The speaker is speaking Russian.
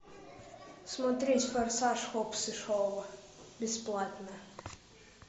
смотреть форсаж хоббс и шоу бесплатно